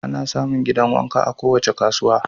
Ana samun gidan wanka a kowace kasuwa